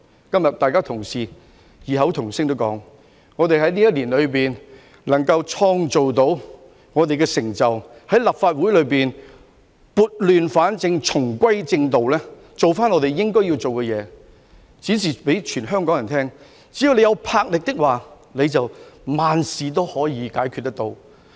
今天大家同事異口同音地說，我們在這一年內能創造我們的成就，在立法會內撥亂反正，重歸正道，做回我們應該要做的工作，展示給全香港人看，只要有魄力，萬事都可以解決。